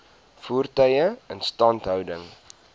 voertuie instandhouding